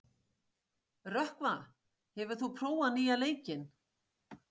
Rökkva, hefur þú prófað nýja leikinn?